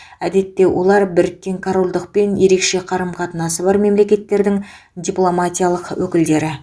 әдетте олар біріккен корольдықпен ерекше қарым қатынасы бар мемлекеттердің дипломатиялық өкілдіктері